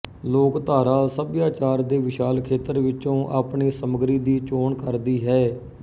ਲੋੋੋੋਕਧਾਰਾ ਸਭਿਆਚਾਰ ਦੇ ਵਿਸ਼ਾਲ ਖੇਤਰ ਵਿਚੋਂ ਆਪਣੀ ਸਮੱਗਰੀ ਦੀ ਚੋਣ ਕਰਦੀ ਹੈ